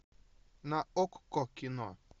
на окко кино